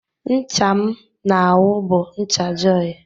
Ncha m na-awụ bụ ncha jọị.